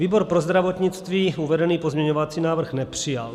Výbor pro zdravotnictví uvedený pozměňovací návrh nepřijal.